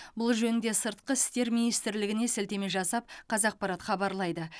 бұл жөнінде сыртқы істер министрлігіне сілтеме жасап қазақпарат хабарлайды